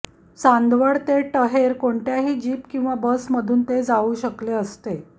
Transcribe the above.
चांदवड ते टहेर कोणत्याही जीप किंवा बसमधून ते जाऊ शकले असते